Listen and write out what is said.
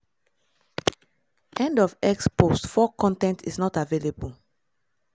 end of x post 4 con ten t is not available